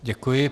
Děkuji.